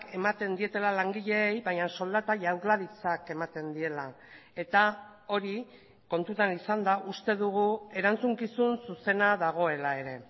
ematen dietela langileei baina soldata jaurlaritzak ematen diela eta hori kontutan izanda uste dugu erantzukizun zuzena dagoela ere